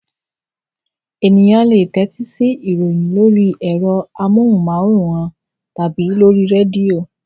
Ènìyàn le tẹ́tí sí ìròyìn lórí ẹ̀rọ amóhùmáwòhán tàbí lórí rédíò.